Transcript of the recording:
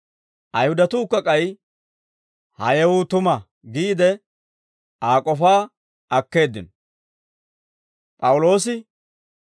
Ayihudatuukka k'ay, «Ha yewuu tuma» giide, Aa k'ofaa akkeeddino.